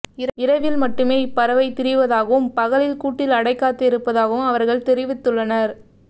இரவில் மட்டுமே இப் பறவை திரிவதாகவும் பகலில் கூட்டில் அடைகாத்து இருப்பதாகவும் அவா்கள் தெரிவித்துள்ளனா்